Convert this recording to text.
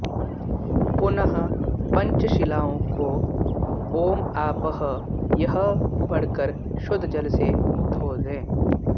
पुनः पञ्चशिलाओं को ॐ आपः यह पढ़कर शुद्ध जल से धो दें